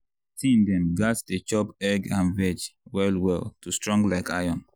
teen dem gats dey chop egg and veg well well to strong like iron.